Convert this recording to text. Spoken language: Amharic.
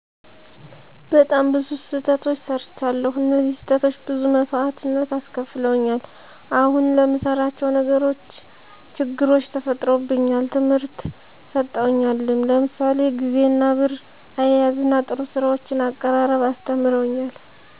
በጣም ብዙ ስተቶች ሰርቻለዉ እነዚህ ስህተቶች ብዙ መሰዋእትነት አስከፍለውኛል አሁን ለምንሰራቸው ነገሮች ችግሮች ተፈጥሮብኛል ትምህርት ሰጠውኛልም ለምሳሌ ግዜንና ብር አያያዝና ጥሩ ሰዎችን አቀራረብ አስተምረውኛል